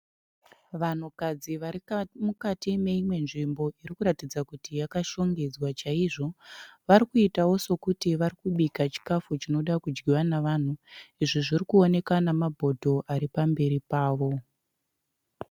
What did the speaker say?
Vanhukadzi varimukati meimwe nzvimbo irikuratidza kuti yakashongedzwa chaizvo. Varikuitawo sokuti varikubika chikafu chinoda kudyiwa navanhu. Izvi zvirikuoneka namabhodho aripamberi pavo.